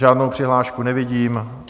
Žádnou přihlášku nevidím.